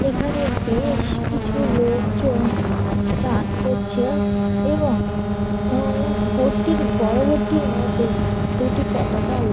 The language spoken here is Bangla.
এখানে বেশ কিছু লোকজন চান করছে এবং বোট -টির বড় বোট -টির মধ্যে দুটি পতাকা উড়--